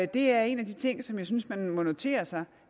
det er en af de ting som jeg synes man må notere sig